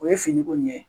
O ye fini ko ɲɛ ye